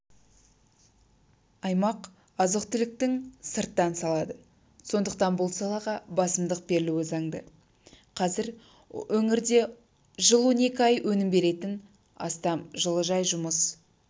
аймақ азық-түліктің сырттан салады сондықтан бұл салаға басымдық берілуі заңды қазір өңірде жыл он екі ай өнім беретін астам жылыжай жұмыс